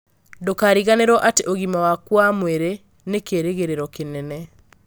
Ndũkariganĩrũo atĩ ũgima waku wa mwĩrĩ nĩ kĩĩrĩgĩrĩro kĩnene.